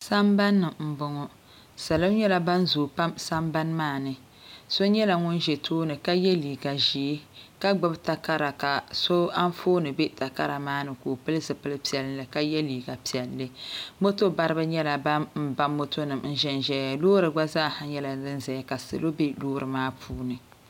sambanni n bɔŋɔ salɔ nyɛla ban zooi pam sambani maa ni so nyɛla ŋun ʒɛ tooni ka yɛ liiga ʒiɛ ka gbubi takara ka so Anfooni bɛ takara maa ni ka o pili zipili piɛlli ka yɛ liiga piɛlli moto baribi nyɛla ban ba moto nim n ʒɛn ʒɛya loori gba zaaha nyɛla din ʒɛnʒɛya ka salo bɛ loori maa puuni